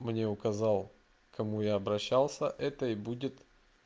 мне указал кому я обращался это и будет